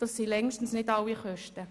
Dies sind längstens nicht alle Kosten.